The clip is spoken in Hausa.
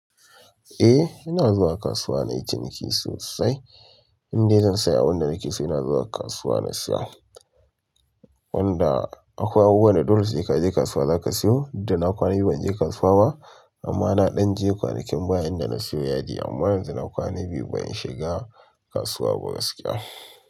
Eh ina zuwa kasuwa na yi ciniki sosai. Inde zan saya abunda nake so ina zuwa kasuwa na siya. Wanda akwai abubuwa da dole sai ka je kasuwa za ka siyo. Da na kwana biyu ban je kasuwa ba amma na ɗan je kwanakin baya inda na siyo yadi amma yanzu na kwana biyu ban shiga kasuwa ba gaskiya.